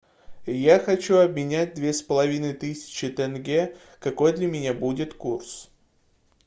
я хочу обменять две с половиной тысячи тенге какой для меня будет курс